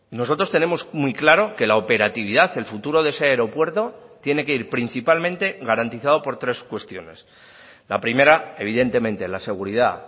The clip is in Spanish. nosotros tenemos muy claro que la operatividad el futuro de ese aeropuerto tiene que ir principalmente garantizado por tres cuestiones la primera evidentemente la seguridad